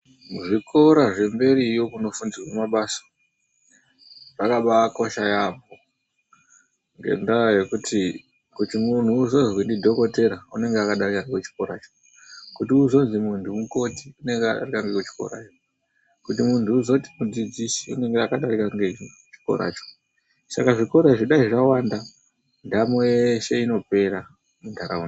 Zvikora zvemberiyo kunofundirwa mabasa zvakabaakosha yaambo. Ngendaa yekuti kuti mundu uzozwi ndidhokoteya, anenge akadarika ngekuchikoracho. Kuti munthu uzozwi mundu mukoti unenga akadarika nekuchikoracho. Kuti mundu uzozwi mudzidzisi anenge akadarika nekuchikoracho. Saka zvikora izvi dai zvawanda, ndamo yeshe inopera mundaraunda.